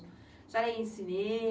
A senhora ia em cinema?